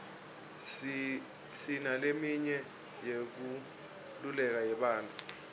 sinaleminye yenkululeko yebantfu